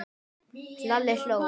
Lalli hló.